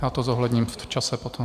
Já to zohledním v čase potom.